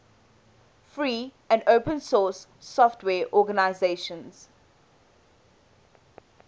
free and open source software organizations